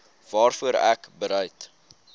waarvoor ek bereid